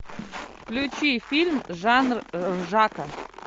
включи фильм жанр ржака